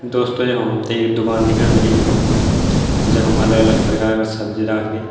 दोस्तों यखम हमथे एक दुकान दिखेणी ह्वेली यी फोटो म जखम अलग अलग प्रकार का सब्जी राखदीं।